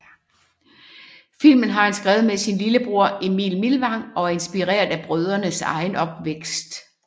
Filmen har han skrevet med sin lillebror Emil Millang og er inspireret af brødrenes egen opvækst